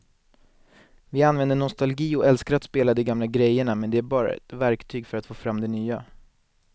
Vi använder nostalgi och älskar att spela de gamla grejerna men det är bara ett verktyg för att få fram det nya.